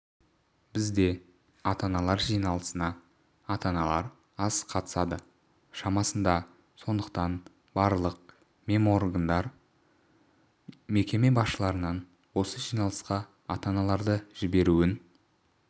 бізде ата-аналар жиналысына ата-аналар аз қатысады шамасында сондықтан барлық меморган мекеме басшыларынан осы жиналысқа ата-аналарды жіберуін